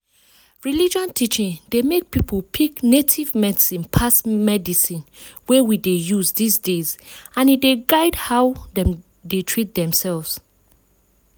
religion teaching dey make people pick native medicine pass medicine wey we dey use this days and e dey guide how dem dey treat themselves